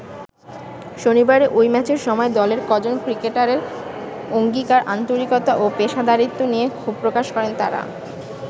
শনিবারের ঐ ম্যাচের সময় দলের কজন ক্রিকেটারের অঙ্গীকার, আন্তরিকতা ও পেশাদারিত্ব নিয়ে ক্ষোভ প্রকাশ করেন তারা।